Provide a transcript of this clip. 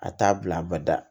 A t'a bila a bada